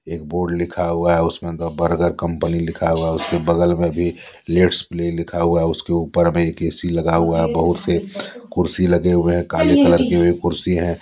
एक बोर्ड लिखा हुआ है उसमें द बर्गर कंपनी लिखा हुआ उसके बगल में भी लेट्स प्ले लिखा हुआ है उसके ऊपर में एक ए_सी लगा हुआ है बहुत से कुर्सी लगे हुए हैं काले कलर की भी कुर्सी हैं।